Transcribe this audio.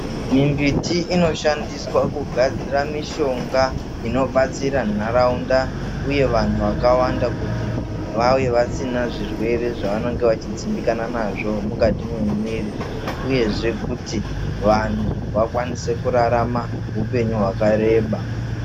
Mimbiti inoshandiswa kugadzira mishonga inobatsira nharaunda uye vanhu vakawanda kuti vave vasina zvirwere zvavanenge vachidzimbikana nazvo mukati mwemwiri uyezve kuti vanhu vakwanise kurarama hupenyu hwakareba.